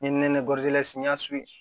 N ye nɛnɛ n y'a